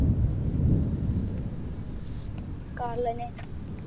Car ലെന്നെ